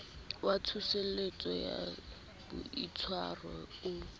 wa tsoseletso ya boitshwaro o